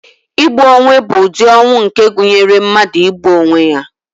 Igbu onwe bụ ụdị ọnwụ nke gụnyere mmadụ igbu onwe ya.